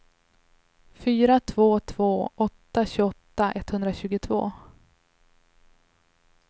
fyra två två åtta tjugoåtta etthundratjugotvå